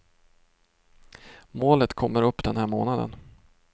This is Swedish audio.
Målet kommer upp den här månaden.